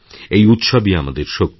এই উৎসবই আমাদের শক্তি